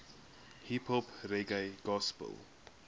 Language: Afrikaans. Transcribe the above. hiphop reggae gospel